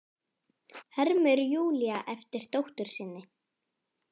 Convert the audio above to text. hermir Júlía eftir dóttur sinni.